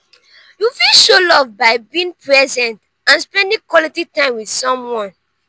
you fit show love by being present and spending quality time with someone.